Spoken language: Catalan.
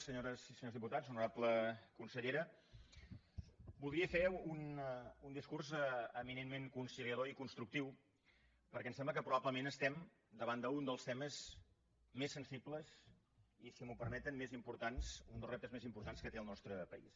senyores i senyors diputats honorable consellera voldria fer un discurs eminentment conciliador i constructiu perquè em sembla que probablement estem davant d’un dels temes més sensibles i si m’ho permeten més importants un dels reptes més importants que té el nostre país